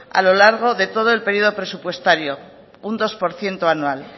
a lo largo de todo el periodo presupuestario un dos por ciento anual